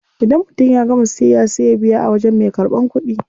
Idan mutum ya gama siyayya sai ya biya a wajen me karban kudi.